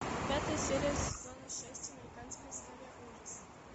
пятая серия сезона шесть американская история ужасов